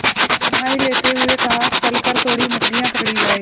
उसने जम्हाई लेते हुए कहा चल कर थोड़ी मछलियाँ पकड़ी जाएँ